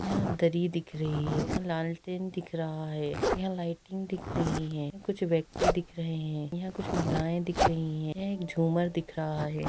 यहाँ दरी दिख रही है लालटेन दिख रहा है यहाँ लाईटिंग दिख रही है कुछ व्यक्ति दिख रहे हैं यहाँ कुछ महिलाएं दिख रही हैं यह एक झूमर दिख रहा है।